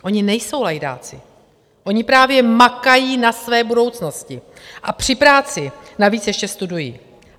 Oni nejsou lajdáci, oni právě makají na své budoucnosti a při práci navíc ještě studují.